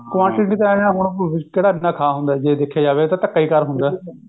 quantity ਤਾਂ ਐਂ ਐਂ ਹੁਣ ਕਿਹੜਾ ਇੰਨਾ ਖਾ ਹੁੰਦਾ ਜੇ ਦੇਖਿਆ ਜਾਵੇ ਇਹ ਤਾਂ ਇੱਕ ਧੱਕਾ ਕਰ ਹੁੰਦਾ